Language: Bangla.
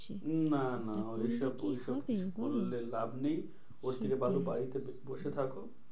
উম না না করলে ওদের কি সব হবে বোলো? ওই সব ওই সব করলে লাভ নেই। ওর থেকে ভালো বাড়িতে বসে থাকো।